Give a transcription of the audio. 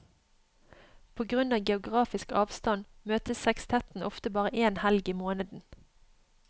På grunn av geografisk avstand møtes sekstetten ofte bare én helg i måneden.